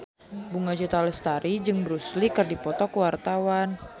Bunga Citra Lestari jeung Bruce Lee keur dipoto ku wartawan